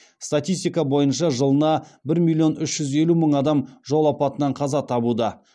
статистика бойынша жылына бір миллион үш жүз елу мың адам жол апатынан қаза табуда